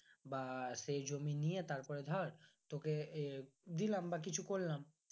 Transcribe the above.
বা সেই জমি নিয়ে তারপরে ধর তোকে এ দিলাম বা কিছু করলাম